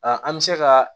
an bɛ se ka